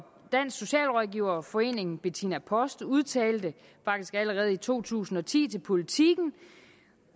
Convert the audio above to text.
socialrådgiverforeningen bettina post udtalte faktisk allerede i to tusind og ti til politiken